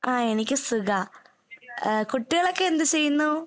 ആഹ് എനിക്ക് സുഖാ. ഏഹ് കുട്ടികളൊക്കെ എന്ത് ചെയ്യുന്നു?